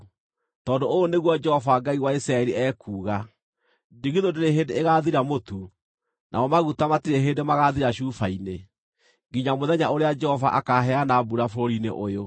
Tondũ ũũ nĩguo Jehova Ngai wa Isiraeli ekuuga: ‘Ndigithũ ndĩrĩ hĩndĩ ĩgathira mũtu namo maguta matirĩ hĩndĩ magathira cuba-inĩ, nginya mũthenya ũrĩa Jehova akaheana mbura bũrũri-inĩ ũyũ.’ ”